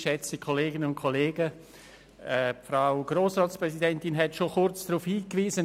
Die Frau Grossratspräsidentin hat schon kurz darauf hingewiesen.